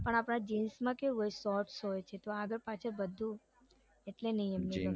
પણ આપડા જીન્સમાં કેવું હોય છે shorts હોય છે તો આગળ પાછળ એટલે નઈ ગમતું